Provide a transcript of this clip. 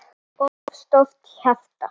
of stórt hjarta